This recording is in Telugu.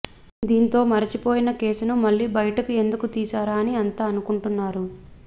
దీంతో మరచిపోయిన కేసును మళ్లీ బయటకు ఎందుకు తీసారా అని అంత అనుకుంటున్నారు